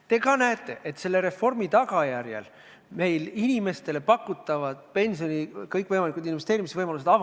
Te ka ise näete, et selle reformi tagajärjel avanevad meie inimestele kõikvõimalikud pensioni investeerimise võimalused.